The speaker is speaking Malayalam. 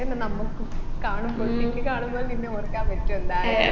അതെന്നെ നമ്മുക്കും കാണുമ്പോ ഒറ്റയ്ക്ക് കാണുമ്പോൾ നിന്നെ ഓർക്കാൻ പറ്റും എന്തായാലും